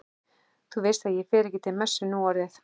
Þú veist að ég fer ekki til messu núorðið.